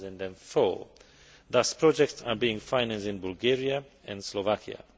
2004. Thus, projects are being financed in Bulgaria and Slovakia.